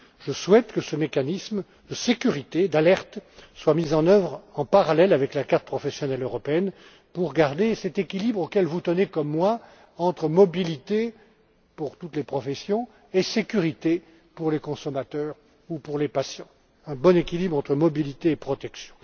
Je souhaite que ce mécanisme de sécurité et d'alerte soit mis en œuvre en parallèle avec la carte professionnelle européenne pour garder cet équilibre, auquel vous tenez comme moi, entre mobilité pour toutes les professions et sécurité pour les consommateurs ou pour les patients. Il s'agit de parvenir à un bon équilibre entre mobilité et protection.